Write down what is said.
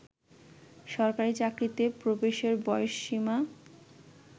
সরকারি চাকরিতে প্রবেশের বয়সসীমা